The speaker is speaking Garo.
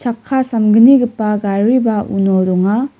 chakka samgnigipa gariba uno donga.